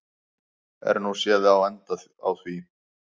Er nú séð á enda á því.